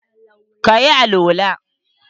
ka yi alwala?